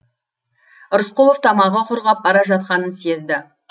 рысқұлов тамағы құрғап бара жатқанын сезді